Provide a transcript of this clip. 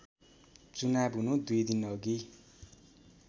चुनाव हुनु २ दिनअघि